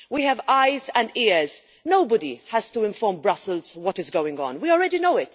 We have eyes and ears. Nobody has to inform Brussels what is going on we already know.